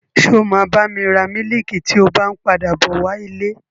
Ṣé o máa bá mi ra mílìkì tí o bá n padà bọ wá ilé?